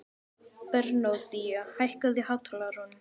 Bernódía, hækkaðu í hátalaranum.